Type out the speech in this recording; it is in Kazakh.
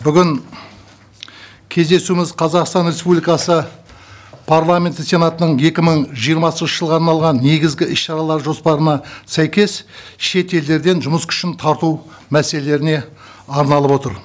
бүгін кездесуіміз қазақстан республикасы парламенті сенатының екі мың жиырмасыншы жылға арналған негізгі іс шаралар жоспарына сәйкес шетелдерден жұмыс күшін тарту мәселелеріне арналып отыр